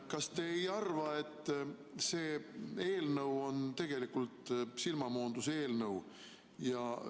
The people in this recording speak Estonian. Kas te ei arva, et see eelnõu on tegelikult silmamoonduseelnõu?